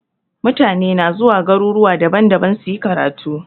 Mutane na zuwa garuruwa daban-daban suyi karatu.